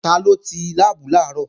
Taló ti láàbù làárọ̀?